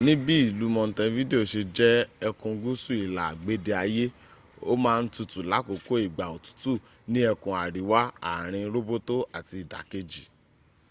níbi ìlú montevideo se jẹ́ ẹkùn gúúsù ìlà agbede ayé ó má ń tutù láàkókò ìgbà òtútù ní ẹkùn àríwá àarin róbótó àti ìdàkejì